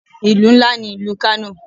Ìlú ńlá ní ìlú Kano.